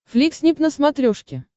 фликснип на смотрешке